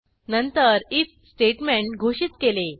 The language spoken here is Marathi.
नंतर आयएफ स्टेटमेंट घोषित केले